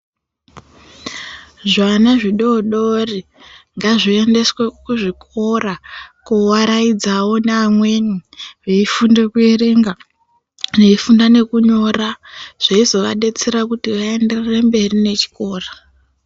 Zvana zvidodori ngazvi endeswe ku zvikora ku waraidzawo ne amweni vei funde ku erenga vei funda ne kunyora zveizo vadetsera kuti va enderere mberi ne chikora.